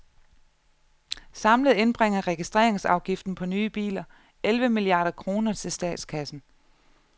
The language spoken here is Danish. Samlet indbringer registreringsafgiften på nye biler elleve milliarder kroner til statskassen.